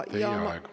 Teie aeg!